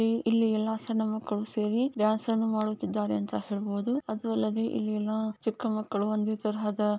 ಇಲ್ಲಿ ಎಲ್ಲಾ ಸಣ್ಣ ಮಕಳ್ಳು ಸೇರಿ ಡಾನ್ಸ್ ಅನ್ನು ಮಾಡುತಿದಾರೆ ಅಂತ ಹೇಲಬಹುದು. ಅದೂ ಅಲ್ಲದೆ ಇಲ್ಲಿ ಎಲ್ಲಾ ಚಿಕಮಕಳು ಒಂದೆ ತರಹದ--